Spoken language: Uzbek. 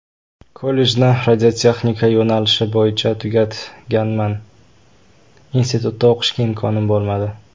Kollejni radiotexnika yo‘nalishi bo‘yicha tugatganman, institutda o‘qishga imkonim bo‘lmadi.